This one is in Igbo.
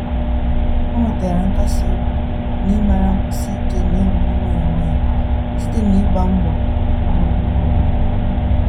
O nwetara nkasi obi n'ịmara nkwụsi ike na-ewuli nwayọ nwayọ site na ịgba mbọ ugboro ugboro